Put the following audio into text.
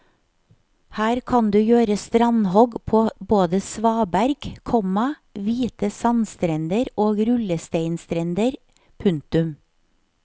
Her kan du gjør strandhogg på både svaberg, komma hvite sandstrender og rullesteinstrender. punktum